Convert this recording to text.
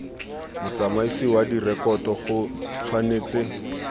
motsamaisi wa direkoto go tshwanetse